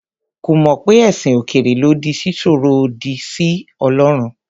Kò mọ̀ pé ẹ̀sìn òkèèrè lòdì sí sísọ̀rọ̀ òdì sí Ọlọ́run.